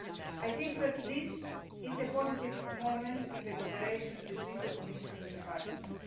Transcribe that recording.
I think that this is a positive moment in the cooperation between the Commission and Parliament.